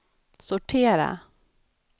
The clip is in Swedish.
sortera